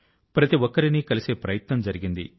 ప్రతి ఒక్కరినీ కలిసే ప్రయత్నం జరిగింది